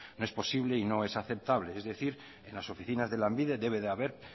no es posible y no es aceptable es decir en las oficinas de lanbide debe de haber